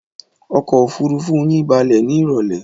Ọkọ̀-òfurufú yín balẹ̀ ní ìrọ́lẹ́?